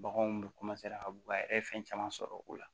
Baganw bɛ ka bɔ a yɛrɛ ye fɛn caman sɔrɔ o la